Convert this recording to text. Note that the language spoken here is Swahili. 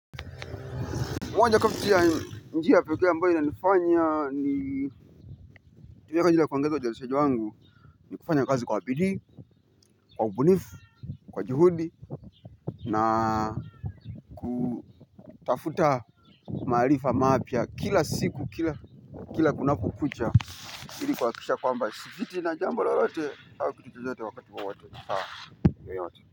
Moja kati ya njia pekee ambayo inanifanya nitumie kwa ajili ya kuongeza uzalishaji wangu ni, kufanya kazi kwa bidii, kwa kubunifu, kwa juhudi na kutafuta maarifa mapya kila siku kila kunapokucha ili kuhakikisha kwamba sipitwi na jambo lolote au kitu chochote wakati wowote.